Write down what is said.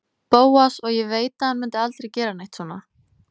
Bóas og ég veit að hann mundi aldrei gera neitt svona.